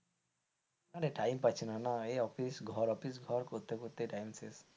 আরে time পাচ্ছি না, এই অফিস ঘর অফিস করতে করতে time শেষ।